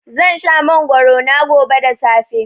Zan sha mangwaro na gobe da safe.